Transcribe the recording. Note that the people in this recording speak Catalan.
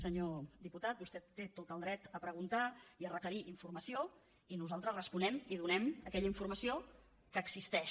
senyor diputat vostè té tot el dret a preguntar i a requerir informació i nosaltres responem i donem aquella informació que existeix